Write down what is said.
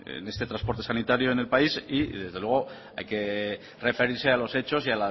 en este transporte sanitario en el país y desde luego hay que referirse a los hechos y